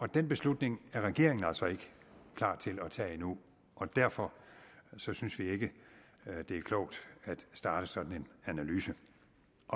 og den beslutning er regeringen altså ikke klar til at tage endnu og derfor synes vi ikke at det er klogt at starte sådan en analyse